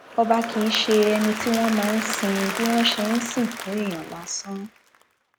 ọba kì í ṣe ẹni tí wọn máa ń sìn bí wọn ṣe ń sìnkú èèyàn lásán